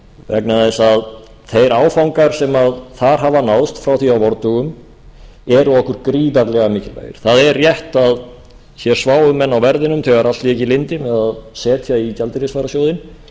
vegna þess að þeir áfangar sem þar hafa náðst síðan á vordögum eru okkur gríðarlega mikilvægir það er rétt að hér sváfu menn á verðinum þegar við ákváðum að setja í gjaldeyrisvarasjóðinn